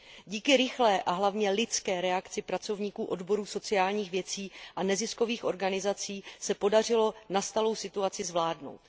Díky rychlé a hlavně lidské reakci pracovníků odborů sociálních věcí a neziskových organizací se podařilo nastalou situaci zvládnout.